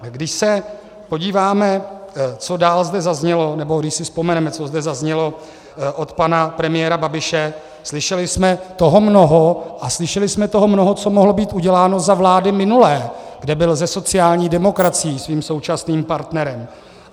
Když se podíváme, co dál zde zaznělo, nebo když si vzpomeneme, co zde zaznělo od pana premiéra Babiše, slyšeli jsme toho mnoho, a slyšeli jsme toho mnoho, co mohlo být uděláno za vlády minulé, kde byl se sociální demokracií, svým současným partnerem.